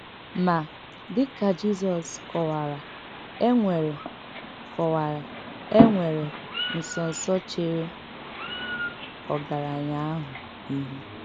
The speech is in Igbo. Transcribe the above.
Mà, dị̀ ka Jizọs kọ̀wárà, e nwèrè kọ̀wárà, e nwèrè ǹsọ́nsọ̀ chèrè ògaránya àhụ̀ íhù.